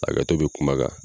Hakɛto be kuma kan